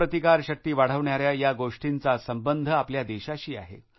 प्रतिकारशक्ती वाढवणाऱ्या या गोष्टींचा संबंध आपल्या देशाशी आहे